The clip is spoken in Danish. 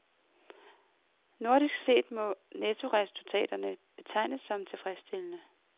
Nordisk set må nettoresultatet betegnes som tilfredsstillende.